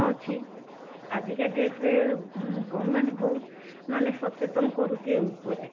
ଅଛି, ଆଜିକା date ରେ government ବହୁତ ମାନେ ସଚେତନ କରୁଛି ଏଇ ଉପରେ